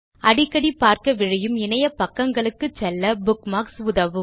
அடிக்கடி பார்க்க விழையும் இணையபக்கங்களுக்கு செல்ல புக்மார்க்ஸ் உதவும்